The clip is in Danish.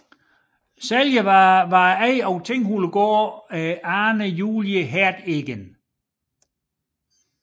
Sælger var ejeren af Tinghulegård Ane Julie Heerdegen